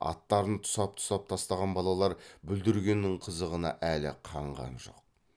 аттарын тұсап тұсап тастаған балалар бүлдіргеннің қызығына әлі қанған жоқ